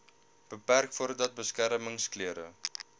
beperk voordat beskermingsklere